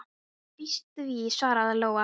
Ég býst við því, svaraði Lóa.